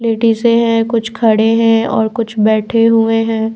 लेडीजें हैं कुछ खड़े हैं और कुछ बैठे हुए हैं।